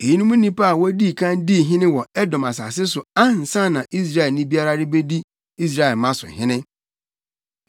Eyinom ne nnipa a wodii kan dii hene wɔ Edom asase so ansa na Israelni biara rebedi Israelmma so hene: